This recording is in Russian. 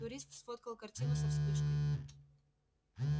турист сфоткал картину со вспышкой